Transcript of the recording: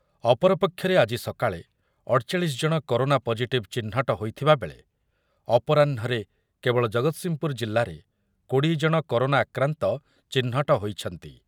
ଅପରପକ୍ଷରେ ଆଜି ସକାଳେ ଅଠଚାଳିଶି ଜଣ କରୋନା ପଜିଟିଭ୍ ଚିହ୍ନଟ ହୋଇଥିବାବେଳେ ଅପରାହ୍ନରେ କେବଳ ଜଗତ୍ସିଂହପୁର ଜିଲ୍ଲାରେ କୋଡିଏ ଜଣ କରୋନା ଆକ୍ରାନ୍ତ ଚିହ୍ନଟ ହୋଇଛନ୍ତି ।